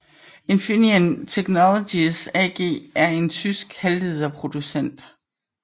Infineon Technologies AG er en tysk halvlederproducent